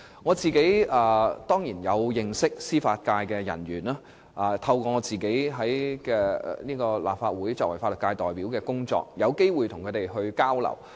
我當然認識一些司法界人員，並有機會透過作為立法會法律界代表的工作與他們交流。